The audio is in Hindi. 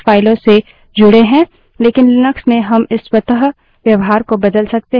हमने देखा कि स्वतः से 3 streams कुछ फाइलों से जुड़ें हैं